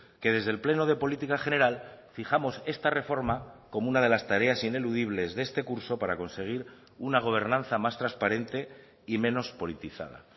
que desde el pleno de política general fijamos esta reforma como una de las tareas ineludibles de este curso para conseguir una gobernanza más transparente y menos politizada